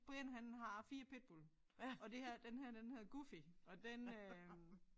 Brian han har 4 pitbull og det her den her den hedder Goofy og den øh